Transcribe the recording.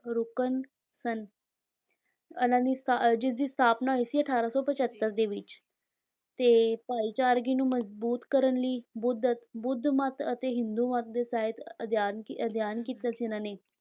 ਰੁਕਨ ਸਨ ਇਹਨਾਂ ਦੀ ਜਿਸ ਦੀ ਸਥਾਪਨਾ ਹੋਈ ਸੀ ਅਠਾਰਾਂ ਸੌ ਪਜੱਤਰ ਦੇ ਵਿੱਚ, ਤੇ ਭਾਈਚਾਰਗੀ ਨੂੰ ਮਜ਼ਬੂਤ ਕਰਨ ਲਈ ਅਤੇ ਬੁੱਧ ਬੁੱਧ ਮੱਤ ਅਤੇ ਹਿੰਦੂ ਮੱਤ ਦੇ ਸਾਹਿਤ ਅਧਿਐਨ ਕੀ ਅਧਿਐਨ ਕੀਤਾ ਸੀ ਇਹਨਾਂ ਨੇ,